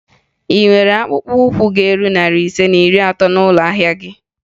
Ị nwere akpụkpọụkwụ ga-eru narị ise na iri atọ n'ụlọ ahịa gị?